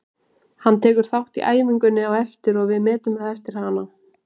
Hann tekur þátt í æfingunni á eftir og við metum það eftir hana.